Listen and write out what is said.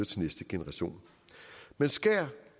til næste generation man skærer